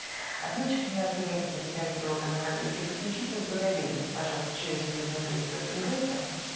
ответчиком у нас является представитель органов опеки и попечительства доверенность пожалуйста через судебного пристава передайте